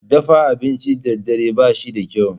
Dafa abinci da dare ba shi da kyau.